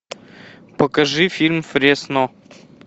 покажи фильм фресно